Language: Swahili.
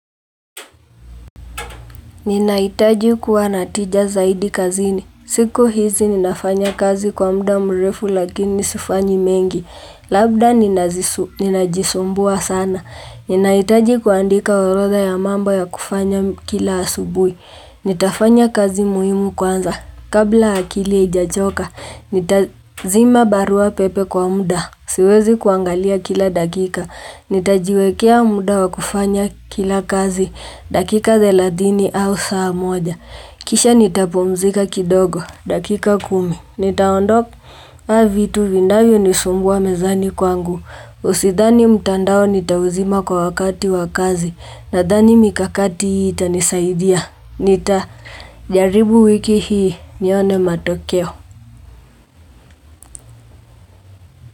Ninahitaji kuwa na tija zaidi kazini. Siku hizi ninafanya kazi kwa muda mrefu lakini sifanyi mengi. Labda ninajisumbua sana. Ninahitaji kuandika orodha ya mambo ya kufanya kila asubuhi. Nitafanya kazi muhimu kwanza. Kabla akili haijachoka, nitazima barua pepe kwa mda. Siwezi kuangalia kila dakika. Nitajiwekea muda wa kufanya kila kazi. Dakika thelathini au saa moja. Kisha nitapumzika kidogo. Dakika kumi. Nitaondoa vitu vinavyo nisumbua mezani kwangu. Usidhani mtandao nitauzima kwa wakati wa kazi. Nadhani mikakati hii itanisaidia. Nita, jaribu wiki hii, nione matokeo.